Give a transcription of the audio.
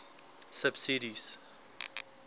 subsidies